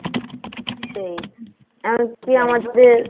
সেই একই আমাদের